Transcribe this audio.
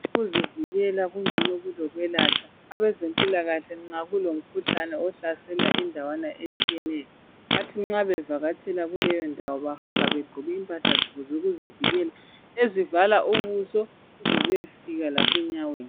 Ukuzivikela kungcono kulokwelatshwa, abezempilakahle nxa kulomkhuhlane ohlasela indawana etshiyeneyo. Bathi nxa behamba kuleyo ndawo bahamba begqoke impahla zabo zokuzivikela ezivala ubuso zize ziyefika lasenyaweni.